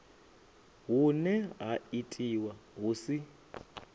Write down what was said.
hune ha itiwa hu si